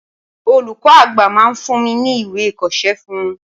Olùkọ́ àgbà máa fún mi ní ìwé ìkọṣẹ́ fún un.